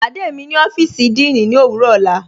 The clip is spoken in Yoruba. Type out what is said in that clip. Pàdé mí ni ọ́fíìsì díìní ní owurọ ọla.